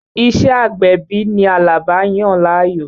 Ìṣé agbẹ̀bí ni Àlàbá yàn láàyò.